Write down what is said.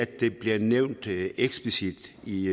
det bliver nævnt eksplicit i